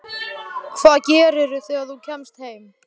Hvað gerirðu þegar þú kemst heim?